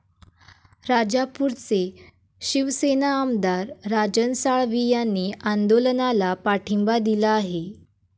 राजापूरचे शिवसेना आमदार राजन साळवी यांनी आंदोलनाला पाठिंबा दिला आहे.